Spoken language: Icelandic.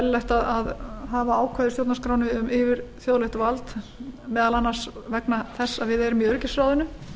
eðlilegt að hafa ákvæði stjórnarskrárinnar um yfirþjóðlegt vald meðal annars vegna þess að við erum í öryggisráðinu